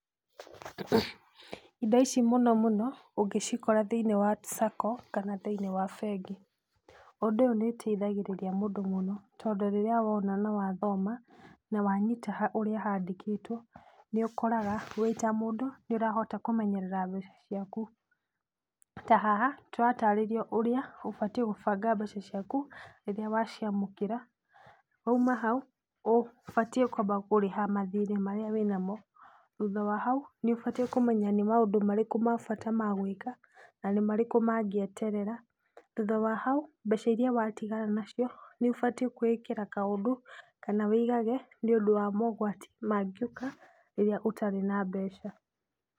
Indo ici mũno mũno ũngĩcikora thĩiniĩ wa sacco kana thĩiniĩ wa bengi. Ũndũ ũyũ nĩ iteithagĩrĩria mũndũ mũno, tondũ rĩrĩa wona na wathoma na wanyita ũrĩa handĩkĩtwo nĩ ũkoraga wĩ ta mũndũ nĩũrahota kũmenyerera mbeca ciaku. Ta haha tũratarĩrio ũrĩa ũbatiĩ gũbanga mbeca ciaku rĩrĩa waciamũkĩra. Wauma hau, ũbatiĩ kwamba kũrĩha mathirĩ marĩa wĩna mo. Thutha wa hau, nĩ ũbatiĩ kũmenya nĩ maũndũ marĩkũ ma bata ma gwĩka na nĩmarĩkũ mangĩeterera. Thutha wa hau, mbeca iria watigara nacio nĩ ũbatiĩ kwĩĩkĩra kaũndũ kana wĩigage, nĩũndũ wa mogwati mangĩũka rĩrĩa ũtarĩ na mbeca.